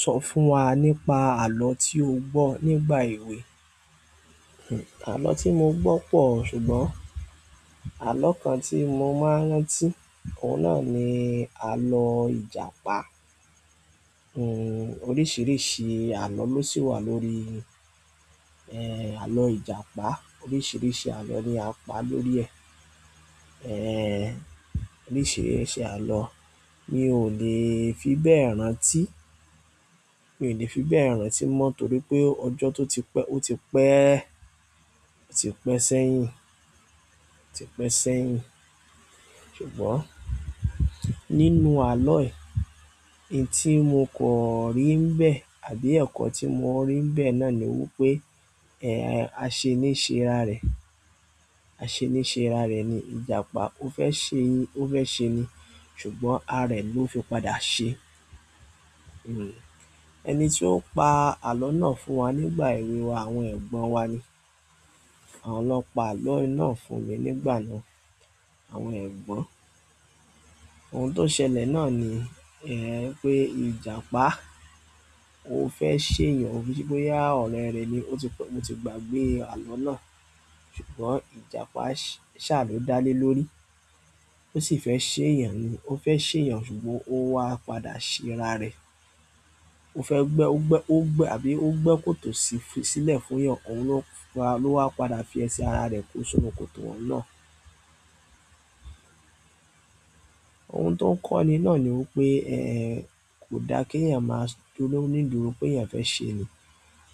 Sọ fún wa nípa àlọ́ tí o gbọ́ nígbà èwe. Àlọ́ tí mo gbọ́ pọ̀ ṣùgbọ́n àlọ́ kan tí mo máa ń rántí, òun náà ni àlọ́ Ìjàpá. Oríṣìíríṣìí àlọ́ ló sì wà lórí, àlọ́ Ìjàpá. Oríṣìíríṣìí àlọ́ ni a pa lórí ẹ̀. Oríṣìíríṣìí àlọ́ mi ò lè fi bẹ́ẹ̀ rántí, mi ò lè fi bẹ́ẹ̀ rántí mọ́ torí pé ọjọ́ tó ti pẹ́, ó ti pẹ́, ó ti pẹ́ sẹ́yìn, ó ti pẹ́ sẹ́yìn. Ṣùgbọ́n nínú àlọ́ ẹ̀, ohun tí mo kò rí nibẹ́ẹ̀ àbí ẹ̀kọ́ tí mo rí nibẹ́ẹ̀ náà ni wípé aṣeni ṣé ara rẹ̀. Aṣeni ṣé ararẹ̀ ni Ìjàpá ó fẹ́ ṣe ni, ó fẹ́ ṣe ni ṣùgbọ́n ara rẹ̀ ló fi padà ṣe. Ẹni tí ó pa àlọ́ náà fún wa nígbà èwe wa àwọn ẹ̀gbọ́n wa ni. Àwọn ló n pa àlọ́ ná fún mi nígbà náà, àwọn ẹ̀gbọ́n. Ohun to ṣẹlẹ̀ na ni pe ìjàpá ó fẹ́ ṣe èèyàn, ki se pé boyà ọ̀rẹ́ rẹ̀ ni ó ti pẹ́, mo ti gbàgbé àlọ́ náà ṣùgbọ́n Ìjàpá ṣàlò dá lé lórí. Ó sì fẹ́ ṣe èèyàn ni, ó fẹ́ ṣe èèyàn ṣùgbọ́n ó wá padà ṣe ara rẹ̀. Ó fẹ́ gbẹ́, ó gbẹ́, ó gbẹ́ àbí ó gbẹ́ kòtò sílẹ̀ fún èèyàn, òun ló wa, ló wá padà fi ẹsẹ̀ ara rẹ̀ kó sinù kòtò oun náà. Ohun tó ń kọ́ni náà ni wípé, kò da kí èèyàn máa dúró nídùúró pé èèyàn fẹ́ ṣeni.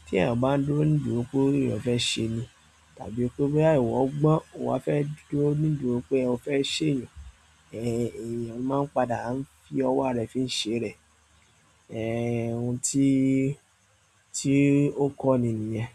Tí èèyàn bá ń dúró nídùúró pé èèyàn fẹ́ ṣeni tàbí pé boya iwọ̀ gbọ́n, owa fẹ́ dúró nídùúró pé o fẹ́ seeyan, èèyàn máa ń padà ń fi ọwọ́ ararẹ̀ fi ń ṣe rẹ̀. Ohun tí, tí ó kọ́ni nìyẹn.